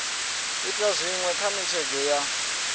ita zwinwe kha netshedzo ya